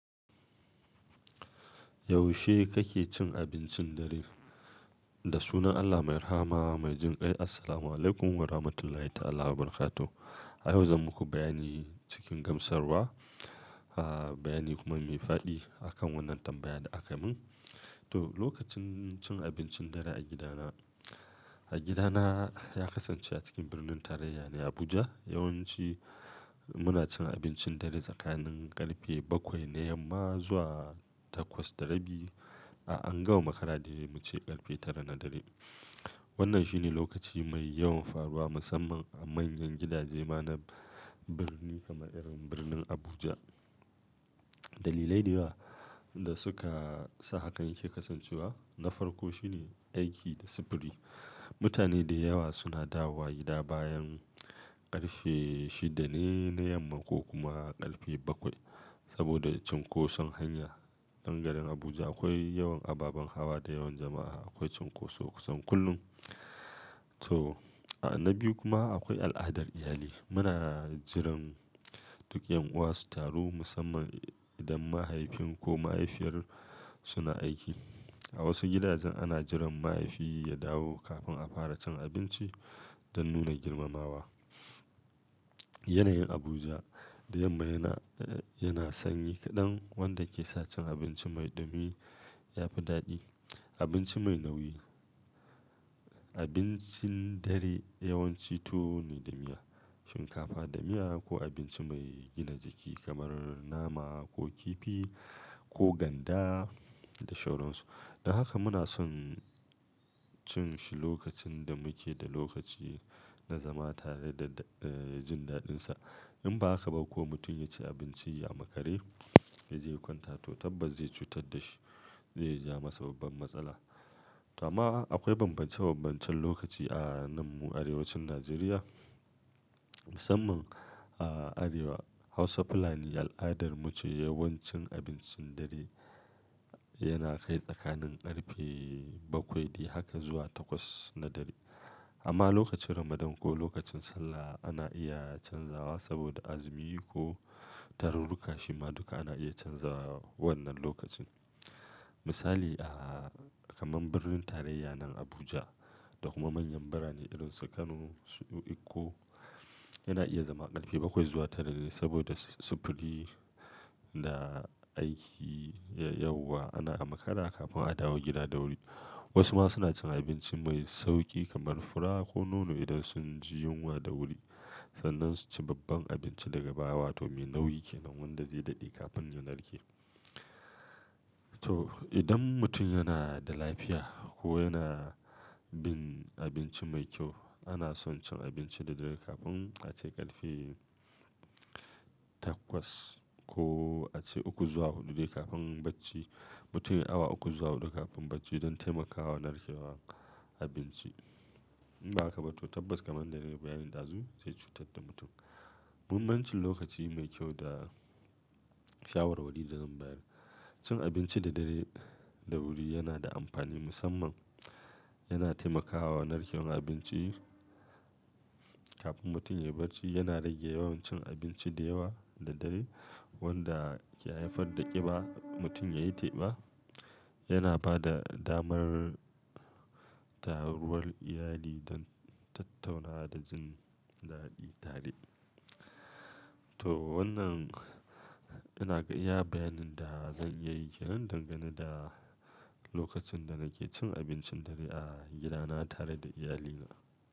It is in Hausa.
Yaushe kake cin abincin dare? Da sunan Allah mai Rahama mai Jin kai. Assalamualaikum Warahmatullahi Ta'ala Wabarakatu. A yau zan muku bayani cikin gamsarwa, bayani kuma mai fa'di akan wannan tambaya da aka min. To, lokacin cin abincin dare a gidana, a gidana ya kasance a cikin birnin tarayya ne Abuja. Yawan ci muna cin abincin dare tsakanin karfe bakwai na yamma zuwa takwas da rabi a ango makara dai mu ce karfe tara na dare. Wannan shine lokaci mai yawan faruwa musamman a manyan gidaje ma na birni kamar irin birnin Abuja. Dalilai da yawa da suka sa hakan yake kasancewa na farko shine aiki da sufuri. Mutane da yawa suna dawowa gida bayan ƙarfe shida ne na yamma ko kuma ƙarfe bakwai saboda cunkoson hanya dangarin Abuja akwai yawan ababen hawa da yawan jama'a akwai cunkoso kusan kullum. To, na biyu kuma akwai al'adar iyali. Muna jiran duk 'yan'uwa su taru musamman idan mahaifin ko mahaifiyar suna aiki. A wasu gidajen ana jiran mahaifi ya dawo kafin a fara cin abinci don nuna girmamawa. Yanayin Abuja da yamma yana, yana sanyi kaɗan wanda ke sa cin abinci mai ɗumi ya fi daɗi. Abinci mai nauyi, abincin dare yawanci tuwo ne da miya, shinkafa da miya ko abinci mai gina jiki kamar nama ko kifi ko ganda da sauransu. Don haka muna son cin shi lokacin da muke da lokaci na zama tare da jin daɗinsa. In ba haka ba ko mutum ya ci abinci ya makare ya je kwanta to tabbas zai cutar da shi, zai ja masa babban matsala. To amma akwai bambance bambancen lokaci a nan mu arewacin Najeriya musamman a arewa Hausa fulani al'adar mu ce yawan cin abincin dare yana kai tsakanin ƙarfe bakwai dai haka zuwa takwas na dare. Amma lokacin Ramadan ko lokacin Sallah ana iya canzawa saboda azumi ko tarurruka shima duka ana iya canzawa wannan lokacin. Misali a kaman birnin tarayya nan Abuja da kuma manyan birane irin su Kano, Eko yana iya zama ƙarfe bakwai zuwa tara ne saboda sufuri da aiki yauwa ana a makara kafin a dawo gida da wuri. Wasu ma suna cin abinci mai sauƙi kamar fura ko nono idan sun ji yunwa da wuri sannan su ci babban abinci daga baya wato me nauyi ke nan wanda zai daɗe kafin ya narke. To, idan mutum yana da lafiya ko yana bin abinci mai kyau ana son cin abinci da dare kafin a ce ƙarfe takwas ko a ce uku zuwa hudu dai kafin bacci. Mutum ya awu uku zuwa hudu kafin bacci don taimakawa narkewar abinci. In ba haka ba to tabbas kamar na rera bayanin dazu zai cutar da mutum. Mummancin lokaci mai kyau da shawarwari da zan bayar cin abinci da dare da wuri yana da amfani musamman yana taimakawa narkewar abinci kafin mutum ya barci yana rage yawan cin abinci da yawa da dare wanda ke haifar da ƙiba mutum ya yi teba. Yana ba da damar taruwar iyali don tattauna da jin daɗi tare. To wannan yana iya bayanin da zan iya yi ke nan dangane da lokacin da nake cin abincin dare a gidana tare da iyalina.